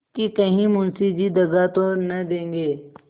कि कहीं मुंशी जी दगा तो न देंगे